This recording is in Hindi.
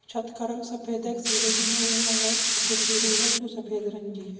छत का रंग सफ़ेद हैं एक सीढ़ी बना हुआ हैं छोटी सीढ़ी हैं जो सफ़ेद रंग की हैं।